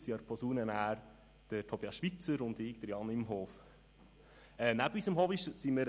Neben unserem Hobby sind wir noch voll in der Ausbildung: